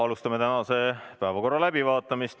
Läheme tänase päevakorra juurde.